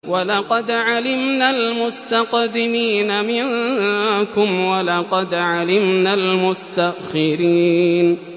وَلَقَدْ عَلِمْنَا الْمُسْتَقْدِمِينَ مِنكُمْ وَلَقَدْ عَلِمْنَا الْمُسْتَأْخِرِينَ